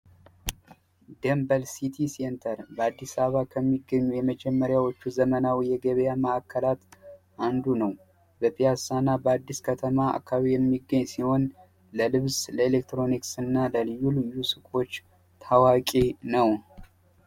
ደንበል ሲትይ ሴንተር በአዲስ አበባ ከሚገኙ የመጀመሪያዎቹ ዘመናዊ የገበያ ማዕከላት አንዱ ነው። በፒያሳ ና በአዲስ ከተማ አከባቢ የሚገኝ ሲሆን ለልብስ፣ ለኤሌክትሮኒክስ እና ለልዩ ልዩ ሱቆች ታዋቂ ነው።